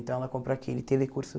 Então ela compra aquele telecurso.